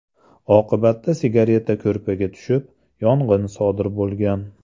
Oqibatda sigareta ko‘rpaga tushib, yong‘in sodir bo‘lgan.